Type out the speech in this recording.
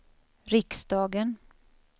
riksdagen